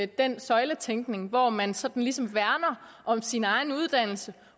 den søjletænkning hvor man sådan ligesom værner om sin egen uddannelse